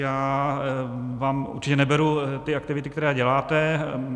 Já vám určitě neberu ty aktivity, které děláte.